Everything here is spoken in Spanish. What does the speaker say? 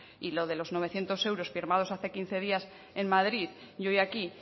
y lo de los novecientos euros firmados hace quince días en madrid y hoy aquí